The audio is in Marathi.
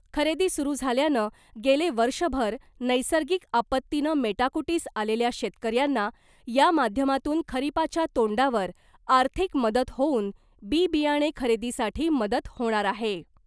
खरेदी सुरु झाल्यानं गेले वर्षभर नैसर्गिक आपत्तीनं मेटाकुटीस आलेल्या शेतकऱ्यांना या माध्यमातून खरिपाच्या तोंडावर आर्थिक मदत होऊन बि बियाणे खरेदीसाठी मदत होणार आहे .